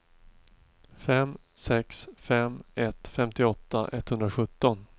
fem sex fem ett femtioåtta etthundrasjutton